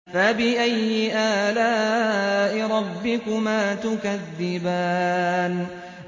فَبِأَيِّ آلَاءِ رَبِّكُمَا تُكَذِّبَانِ